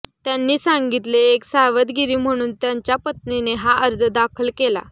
त्यांनी सांगितले एक सावधगिरी म्हणून त्यांच्या पत्नीने हा अर्ज दाखल केला